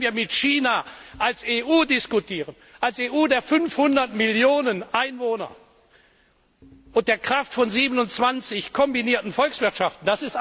Natürlich können wir mit China als EU diskutieren als EU der 500 Millionen Einwohner und der Kraft von 27 kombinierten Volkswirtschaften.